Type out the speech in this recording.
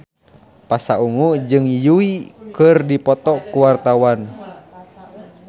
Pasha Ungu jeung Yui keur dipoto ku wartawan